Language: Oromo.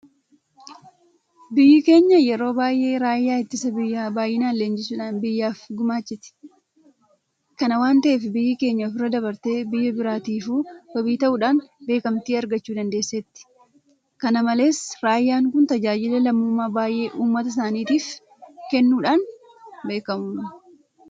Biyyi keenya yeroo baay'ee raayyaa ittisa biyyaa baay'inaan leenjisuudhaan biyyaaf gumaachiti. Kana waanta ta'eef biyyi keenya ofirra dabartee biyya biraatiifuu wabii ta'uudhaan beekamtii argachuu dandeesseetti. Kana malees raayyaan kun tajaajila lammummaa baay'ee uummata isaaniitiif kennuudhaan beekamu.